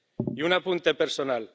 Y un apunte personal.